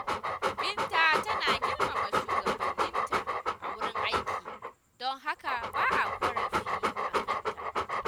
Binta tana girmama shugabanninta a wurin aiki, don haka ba a ƙorafi a kanta.